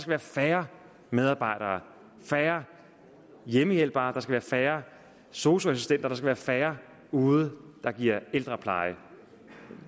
være færre medarbejdere færre hjemmehjælpere færre sosu assistenter færre færre ude der giver ældrepleje